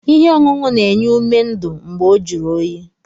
Ihe ọṅụṅụ na-enye ume ndụ mgbe ọ jụrụ oyi.